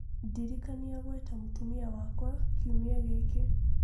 ndirikania ngwĩta mũtimia wakwa Kiumia gĩkĩ